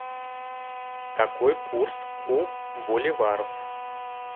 какой курс у боливаров